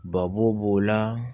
Babo b'o la